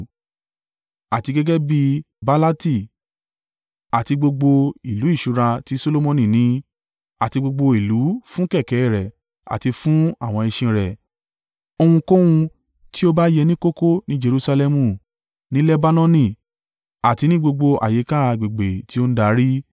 Àti gẹ́gẹ́ bí Baalati àti gbogbo ìlú ìṣúra tí Solomoni ní, àti gbogbo ìlú fún kẹ̀kẹ́ rẹ̀ àti fún àwọn ẹṣin rẹ̀ ohunkóhun tí ó bá yẹ ní kókó ní Jerusalẹmu, ní Lebanoni àti ní gbogbo àyíká agbègbè tí ó ń darí.